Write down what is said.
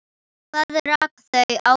Hvað rak þau áfram?